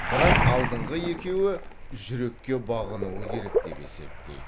бірақ алдыңғы екеуі жүрекке бағынуы керек деп есептейді